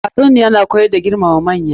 Tatsuniyar na koyar da muhimmancin girmama manya.